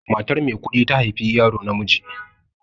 Matar Maikuɗi ta haifi yaro namiji.